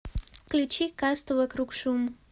включи касту вокруг шум